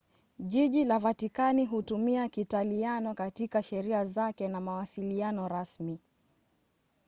jiji la vatikani hutumia kiitaliano katika sheria zake na mawasiliano rasmi